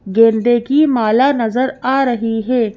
गेंदे की माला नजर आ रही है।